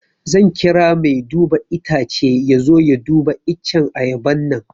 Zan kira mai duba itacce ya zo ya duba iccen ayaban nan